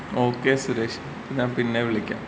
Okay Suresh ഞാൻ പിന്നെ വിളിക്കാം.